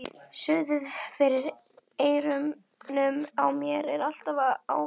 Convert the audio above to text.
Suðið fyrir eyrunum á mér er alltaf að ágerast.